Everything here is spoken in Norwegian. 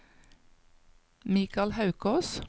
Mikael Haukås